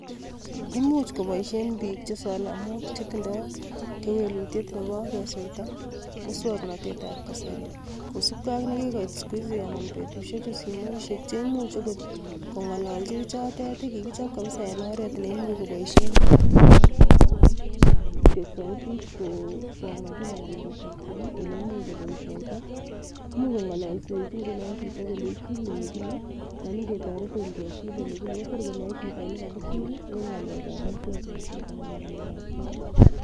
Ibuch koboishien biik Che Solomon anan chetindoi kewelutiet Nebo kesweita, muswoknotet ab kasari. Kosiibge ak nekikoit betusiechu cheimuch okot kongololchi bichotet, chekikichob kabisa en oret neimuch koboishien bik sauti. Imuch kongololsechii ingunon, chito kolenyii chil ele kile alan ingetoretiin kechil ele kile, Kotor konoe chito elekakichil en ngalekab muswoknotet anan ngalekab soet